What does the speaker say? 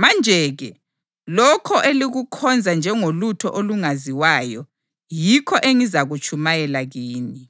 Manje-ke lokho elikukhonza njengolutho olungaziwayo yikho engizakutshumayela kini.